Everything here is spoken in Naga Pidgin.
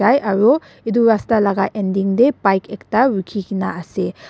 aro itu rasta laga ending te bike ekta rukhi kena ase.